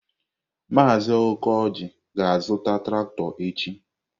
Maazị Okoji ga-azụta traktọ echi.